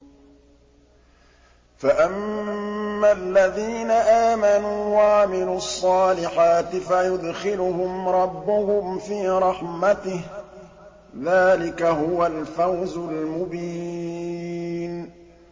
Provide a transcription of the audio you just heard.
فَأَمَّا الَّذِينَ آمَنُوا وَعَمِلُوا الصَّالِحَاتِ فَيُدْخِلُهُمْ رَبُّهُمْ فِي رَحْمَتِهِ ۚ ذَٰلِكَ هُوَ الْفَوْزُ الْمُبِينُ